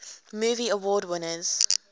movie award winners